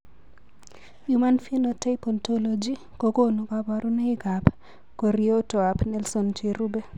Human Phenotype Ontology kokonu kabarunoikab koriotoab Nelson cherube.